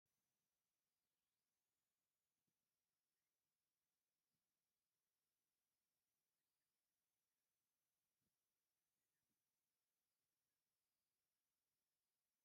ካብ ቆርቆሮ ዝተሰርሐ ናይ ፈርኒሎ፣ ሞቅሎ ሓፂን ፣መንከሽከሽ ን ካብ ጣውላ ዝተሰርሑ ጠረጵዛታትን ኣለዉ ። እቲ ፈርኔሎታት ኣብ ምንታይ ኣሎ?